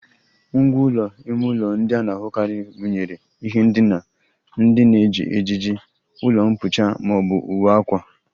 Ngwá ụlọ ime ụlọ ndị a na-ahụkarị gụnyere ihe ndina, ndị na-eji ejiji, ụlọ mkpuchi ma ọ bụ uwe akwa